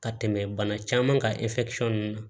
Ka tɛmɛ bana caman kan ɛri nunnu na